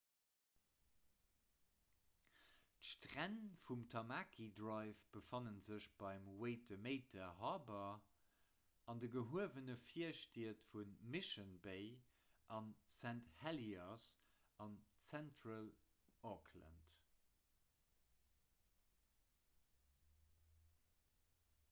d'stränn vum tamaki drive befanne sech beim waitemata harbour an de gehuewene virstied vu mission bay a st heliers an zentral-auckland